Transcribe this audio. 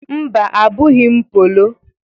Mba; Abụghị m polo.